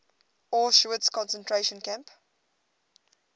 auschwitz concentration camp